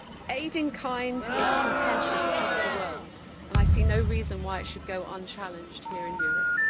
Aid in kind is contentious across the world and I seen no reason why it should go unchallenged here in Europe.